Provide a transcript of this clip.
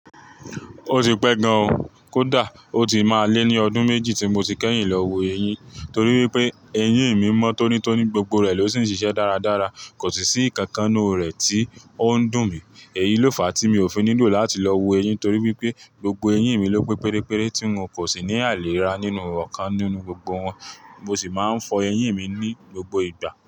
Ó ti pẹ́ gan-an kódà ó ti máa lé ní ọdún méjì tí mo ti kẹ́yìn lọ wo eyín torí wípé eyín mi mọ́ tónítóní, gbogbo rẹ̀ ló sì ń ṣiṣẹ́ dáradára. Kò si sì ìkankan nínú rẹ̀ tí òun dùn mí. Èyí ló fà á tí mi ò fi nílò láti lọ wo eyín torí wípé gbogbo eyín mi ló pé pérépéré tí n kò sì ní àìlera nínú ọ̀kan nínú gbogbo wọn. Mo sì máa ń fọ eyín mi ní gbogbo ìgbà.